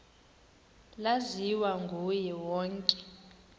laziwa nguye wonke